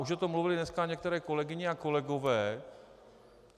Už o tom mluvili dneska některé kolegyně a kolegové.